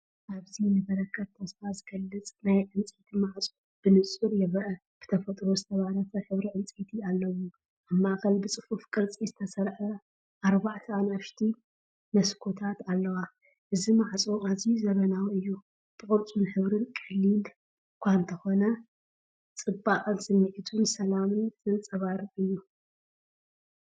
ኣብዚ ንበረኸት ተስፋ ዝገልጽ ናይ ዕንጨይቲ ማዕጾ ብንጹር ይርአ። ብተፈጥሮ ዝተባረኸ ሕብሪ ዕንጨይቲ ኣለዎ፤ ኣብ ማእከል ብጽፉፍ ቅርጺ ዝተሰርዓ ኣርባዕተ ንኣሽቱ መስኮታት ኣለዋ። እዚ ማዕጾ ኣዝዩ ዘመናዊ እዩ፤ ብቅርጽን ሕብርን ቀሊል እኳ እንተኾነ፡ ጽባቐን ስምዒት ሰላምን ዘንጸባርቕ እዩ።.